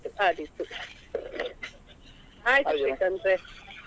ಹಾ ಆದೀತು ಆದೀತು ಆಯ್ತು ಶ್ರೀಕಾಂತ್ರೇ.